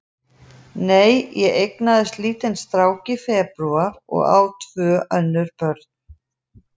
Nei, ég eignaðist lítinn strák í febrúar og á tvö önnur börn.